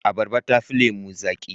Abarba tafi lemo zaki.